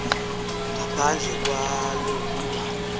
ngaphandle kwalo kuba